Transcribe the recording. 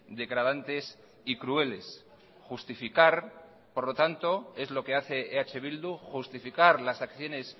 degradantes y crueles justificar por lo tanto es lo que hace eh bildu justificar las acciones